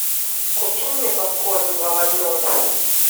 купи мне попкорн два в одном